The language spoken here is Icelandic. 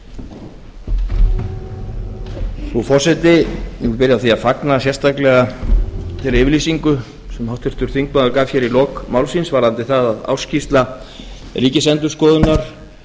nú byrja á því að fagna sérstaklega þeirri yfirlýsingu sem háttvirtur þingmaður gaf hér í lok máls síns varðandi það að ársskýrsla ríkisendurskoðunar